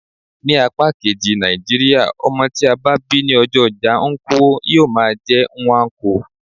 Ní apá kejì Nàìjíríà, ọmọ tí a bá bí ní ọjọ́ ojá nkwo, yíó máà jé Nnwanko.